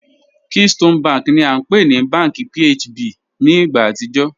Keystone bank ni a npe ni Bank PHB bank ni igba atijọ